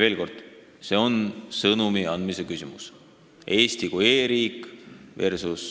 Veel kord, see on sõnumi andmise küsimus: Eesti kui e-riik versus